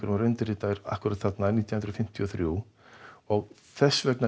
var undirritaður akkúrat þarna árið nítján hundruð fimmtíu og þrjú þess vegna